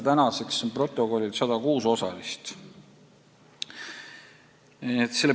Praegu on protokollil 106 osalist.